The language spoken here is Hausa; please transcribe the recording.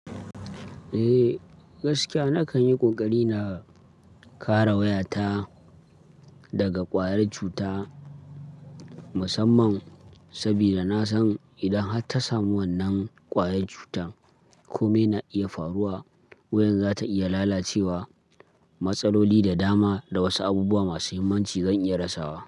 Eh, gaskiya nakan yi ƙoƙari na kare wayata daga ƙwayar cuta musamman saboda na san idan har ta samu wannan ƙwayar cutan, komai na iya faruwa. Wayan za ta iya lalacewa, matsaloli da dama da wasu abubuwa masu muhimmanci zan iya rasawa.